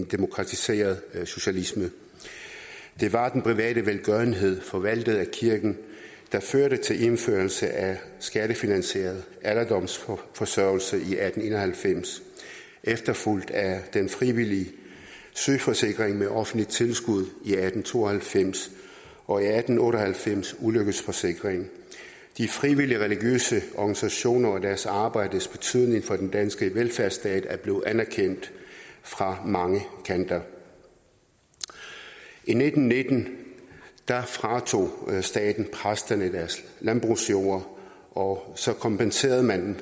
demokratiseret socialisme det var den private velgørenhed forvaltet af kirken der førte til indførelse af skattefinansieret alderdomsforsørgelse i atten en og halvfems efterfulgt af den frivillige sygeforsikring med offentligt tilskud i atten to og halvfems og i atten otte og halvfems ulykkesforsikringen de frivillige religiøse organisationer og deres arbejdes betydning for den danske velfærdsstat er blevet anerkendt fra mange kanter i nitten nitten fratog staten præsterne deres landbrugsjord og så kompenserede man